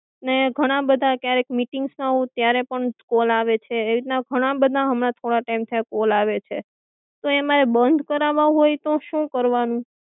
ને ઘણા બધા ક્યારેક મીટિંગ્સ માં હોઉં ત્યારે પણ કોલ આવે છે એવી રીતના ઘણા બધા હમના થોડા ટાઈમ થી આ કોલ આવે છે તો એ મારે બંધ કરવા હોય તો શું કરવાનું?